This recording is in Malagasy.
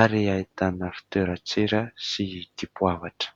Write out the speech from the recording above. ary ahitana fitoeran-tsira sy dipoavatra.